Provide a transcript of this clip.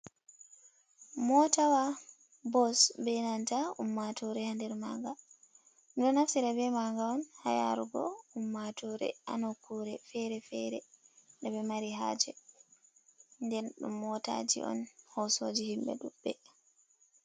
Mootawa bos bee nanta ummaatoore haa nder maaga. Ɗo naftira bee maaga on haa yaarugo ummaatoore haa nokkuure feere-feere nde ɓe mari haaje. Nden ɗum mootaaji on hoosooji himɓe ɗuuɗɓe.